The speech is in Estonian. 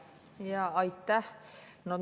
Jaa, aitäh!